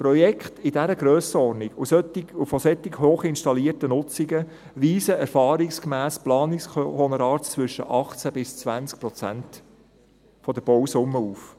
Projekte in dieser Grössenordnung und bei solch hochinstallierten Nutzungen weisen erfahrungsgemäss Planungshonorare zwischen 18 bis 20 Prozent der Bausumme auf.